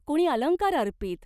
कोणी अलंकार अर्पीत.